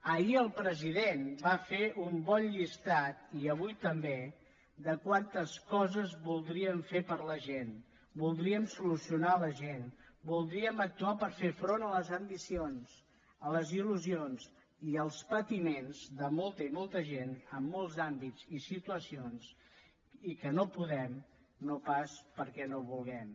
ahir el president va fer un bon llistat i avui també de quantes coses voldríem fer per a la gent voldríem solucionar a la gent voldríem actuar per fer front a les ambicions a les il·lusions i als patiments de molta i molta gent en molts àmbits i situacions i que no podem no pas perquè no vulguem